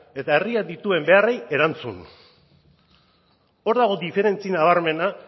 eta herriak dituen beharrei erantzun hor dago diferentzi nabarmena